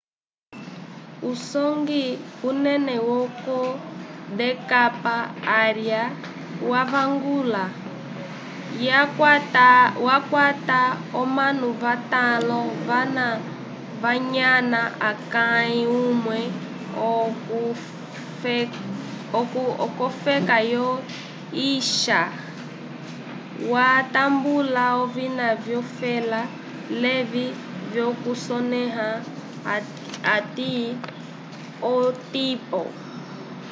usongwi unene yoko dk arya wavangula ywa kwata omanu vatalõ vana vanyana akay umwe ukofeka yo swiça twa tambula ovina vyo fela levi vyokusonea ati otipo